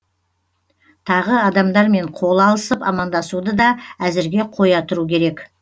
тағы адамдармен қол алысып амандасуды да әзірге қоя тұру керек